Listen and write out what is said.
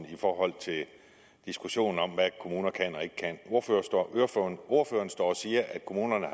i forhold til diskussionen om hvad kommuner kan og ikke kan ordføreren står og siger at kommunerne